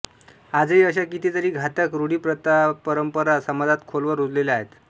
आजही अशा कितीतरी घातक रूढीप्रथापरंपरा समाजात खोलवर रुजलेल्या आहेत